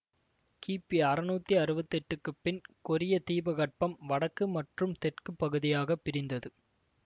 கிபி அறுநூத்தி அறுவத்தி எட்டுக்கு பின் கொரிய தீபகற்பம் வடக்கு மற்றும் தெற்கு பகுதியாகப் பிரிந்தது